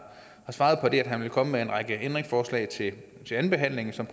svaret at han vil komme med en række ændringsforslag til til andenbehandlingen som